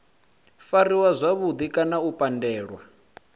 fariwa zwavhudi kana u pandelwa